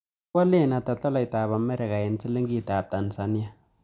Kiwalen ata tolaitap amerika eng' silingitap tanzania